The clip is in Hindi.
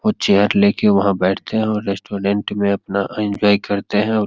वो चेयर लेके वहां बैठते हैं और रेस्टोरेंट में अपना एन्जॉय करते हैं और --